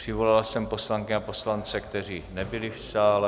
Přivolal jsem poslankyně a poslance, kteří nebyli v sále.